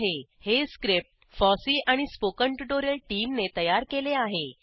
httpspoken tutorialorgNMEICT Intro हे script FOSSEE आणि spoken tutorial टीमने तयार केले आहे